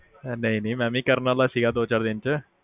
ਨਹੀ-ਨਹੀ ਮੈ ਵੀ ਕਰਨ ਵਾਲਾ ਈ ਸੀਗਾ ਦੋ-ਚਾਰ ਦਿਨਾਂ ਚ